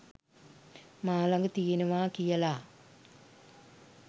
මා ළඟ තියෙනවා කියලා.